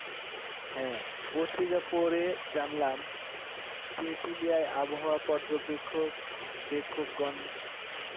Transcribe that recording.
হ্যাঁ পত্রিকা পড়ে জানলাম তেঁতুলিয়ায় আবহাওয়া পর্যবেক্ষক বেক্ষকগণ